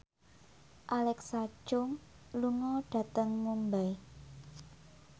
Alexa Chung lunga dhateng Mumbai